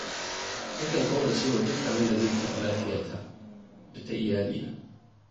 Nakan ƙaurace wa duk abin da zai taɓa lafiyata da ta iyalaina.